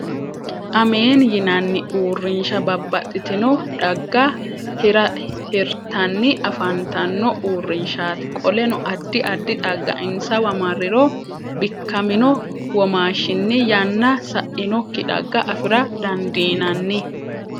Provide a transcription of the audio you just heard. ameeni yinanni urrinsha babbaxitinno dhagga hiritanni afantanno uurinshati. qoleno addi addi xagga insawa marriro bikkamino womaashinni yanna sainokki dhagga afira dandiinanni.